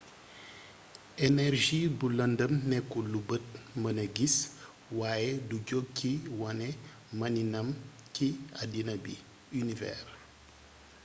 energie bu lëndëm nekkul lu bët mëna gis waaye du jog ci wane maniinam ci àddina bi univers